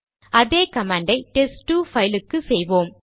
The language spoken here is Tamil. அதே கமாண்ட் ஐ டெஸ்ட்2 பைலுக்கு செய்வோம்